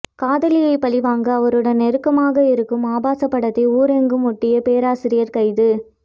காதலியை பழிவாங்க அவருடன் நெருக்கமாக இருக்கும் ஆபாசப்படத்தை ஊரெங்கும் ஒட்டிய பேராசிரியர் கைது